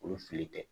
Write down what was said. Olu fili tɛ